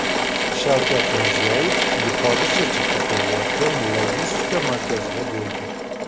Shavkat Mirziyoyev Yuqori Chirchiqda qurilayotgan logistika markazida bo‘ldi.